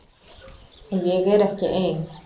Og ég er ekki ein.